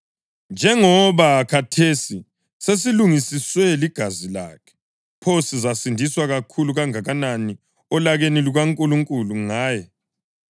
Njengoba khathesi sesilungisiswe ligazi lakhe, pho sizasindiswa kakhulu kangakanani olakeni lukaNkulunkulu ngaye!